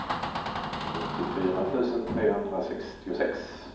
nittiofyra tusen trehundrasextiosex